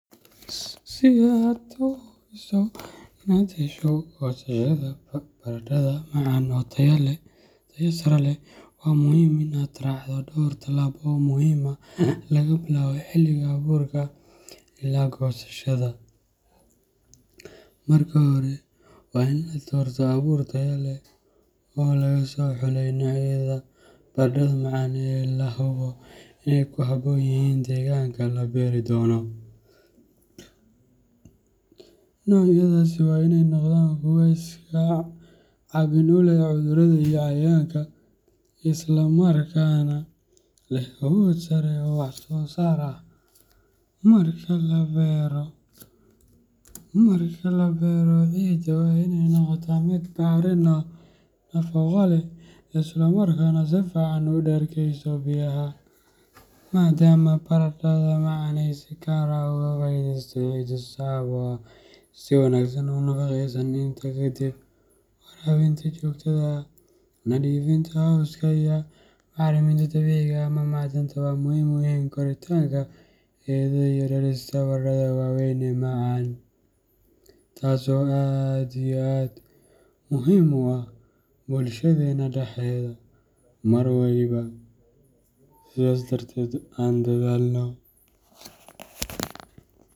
Si aad u hubiso inaad hesho goosashada baradhada macaan oo tayo sare leh, waxaa muhiim ah in aad raacdo dhowr tallaabo oo muhiim ah laga bilaabo xilliga abuurka ilaa goosashada. Marka hore, waa in la doortaa abuur tayo leh oo laga soo xulay noocyada baradhada macaan ee la hubo inay ku habboon yihiin deegaanka la beeri doono. Noocyadaasi waa in ay noqdaan kuwo iska caabin u leh cudurrada iyo cayayaanka, isla markaana leh awood sare oo wax soo saar ah. Marka la beero, ciidda waa inay noqotaa mid bacrin ah, nafaqo leh, isla markaana si fiican u dhergeyso biyaha, maadaama baradhada macaan ay si gaar ah uga faa’iideysato ciidda sabo ah oo si wanaagsan u nafaqeysan. Intaa ka dib, waraabinta joogtada ah, nadiifinta cawska, iyo bacriminta dabiiciga ah ama macdanta waxay muhiim u yihiin koritaanka xididdada iyo dhalista baradhada waaweyn ee macaan. Taso aad iyo aad muhim ah bulshadena dhadedha mar waliba aan dadhalno.